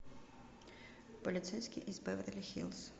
полицейский из беверли хиллз